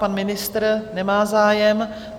Pan ministr nemá zájem.